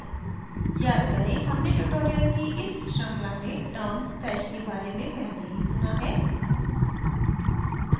याद करें हमने tutorial की इस श्रृंखला में term stash के बारे में पहले ही सुना है